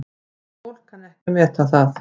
En fólk kann ekki að meta það.